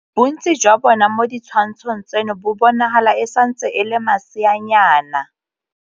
Bontsi jwa bona mo ditshwantshong tseno bo bonagala e santse e le maseanyana.